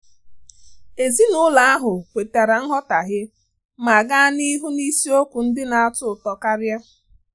Ezinụlọ ahụ kwetara nghọtahie ma gaa n'ihu n'isiokwu ndị na-atọ ụtọ karia.